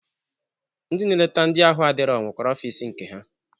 Ndị na-eleta ndị ahụ adirọ nwekwere ọfịs nke ha.